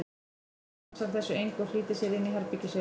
Svenni ansar þessu engu og flýtir sér inn í herbergið sitt.